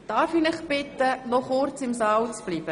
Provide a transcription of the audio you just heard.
Darf ich Sie bitten, noch kurz im Saal zu bleiben.